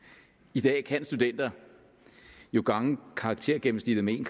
i dag kan studenter jo gange karaktergennemsnittet med en